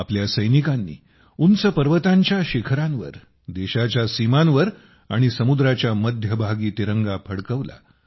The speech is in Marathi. आपल्या सैनिकांनी उंच पर्वतांच्या शिखरांवर देशाच्या सीमांवर आणि समुद्राच्या मध्यभागी तिरंगा फडकवला